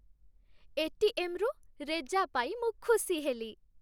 ଏ.ଟି.ଏମ୍.ରୁ ରେଜା ପାଇ ମୁଁ ଖୁସି ହେଲି।